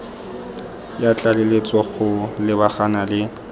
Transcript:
ya tlaleletso go lebagana le